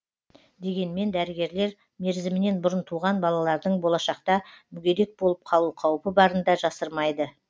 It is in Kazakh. дегенмен дәрігерлер мерзімінен бұрын туған балалардың болашақта мүгедек болып қалу қаупі барын да жасырмайды